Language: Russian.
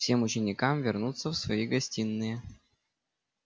всем ученикам вернуться в свои гостиные